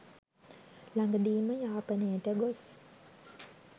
ළඟදීම යාපනයට ගොස්